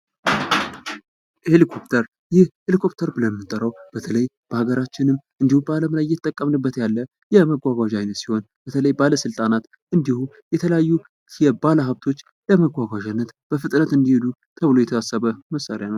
ሄሊኮፍተር ይህ ሄሊኮፍተር ብለን የምንጠራዉ በተለይ በከገራችንም እንዲሁም በአለም ላይ የምንጠቀምበት ያለ የመጎጓዣ አይነት ሲሆን በተለይ ባለስልጣናት እንዲሁም ባለ ሀብቶች ለመጓጓዣነት በፍጥነት እንዲሄዱ ተብሎ የታሰበ መሳሪያ ነዉ።